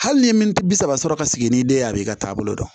Hali ni ye militi bi saba sɔrɔ ka sigi ni den ye a b'i ka taabolo dɔn